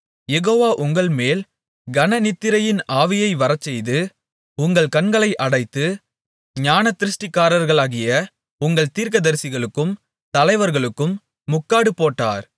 யெகோவா உங்கள்மேல் கனநித்திரையின் ஆவியை வரச்செய்து உங்கள் கண்களை அடைத்து ஞானதிருஷ்டிக்காரர்களாகிய உங்கள் தீர்க்கதரிசிகளுக்கும் தலைவர்களுக்கும் முக்காடு போட்டார்